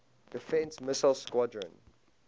defense missile squadron